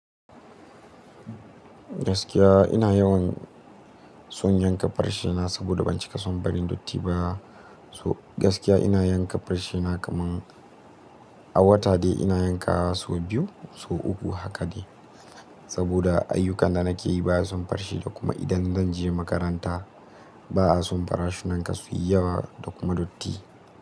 Gaskiya ina yawan son yanka farshe na saboda ban cika son barin dutti ba. So gaskiya ina yanka farshe na kaman a wata dai ina yanka sau biyu, sau uku haka ne. Saboda ayyukan da nake yi baya son farshe da kuma idan zan je makaranta ba'a son farashunan kasuwanni yawa da kuma datti.